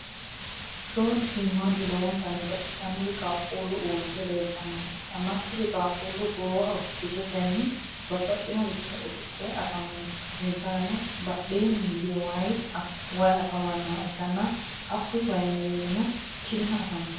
shoolu shiimaadu lowontanni baxisanori qaquuli uurite leelitannoha ikanna kuri qaquuli goowaho kirettenni babaxinoricho usudhe afamanno insaranno badheenni higge wayi afamanoha ikanna hakuyi wayi mereeronno kinna afantanno.